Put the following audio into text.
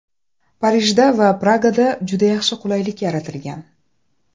Parijda va Pragada juda yaxshi qulaylik yaratilgan.